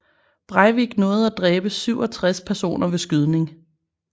Breivik nåede at dræbe 67 personer ved skydning